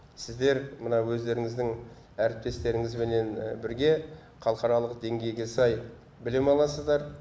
сіздер мына өздеріңіздің әріптестеріңізбенен бірге халықаралық деңгейге сай білім аласыздар